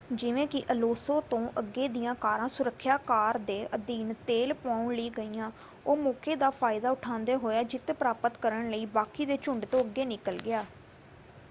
ਜਿਵੇਂ ਕਿ ਅਲੋਂਸੋ ਤੋਂ ਅੱਗੇ ਦੀਆਂ ਕਾਰਾਂ ਸੁਰੱਖਿਆ ਕਾਰ ਦੇ ਅਧੀਨ ਤੇਲ ਪਵਾਉਣ ਲਈ ਗਈਆਂ ਉਹ ਮੌਕੇ ਦਾ ਫਾਇਦਾ ਉਠਾਉਂਦਾ ਹੋਇਆ ਜਿੱਤ ਪ੍ਰਾਪਤ ਕਰਨ ਲਈ ਬਾਕੀ ਦੇ ਝੁੰਡ ਤੋਂ ਅੱਗੇ ਨਿਕਲ ਗਿਆ।